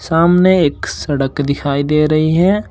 सामने एक सड़क दिखाई दे रही है।